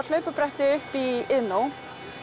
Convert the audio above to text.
hlaupabretti upp í Iðnó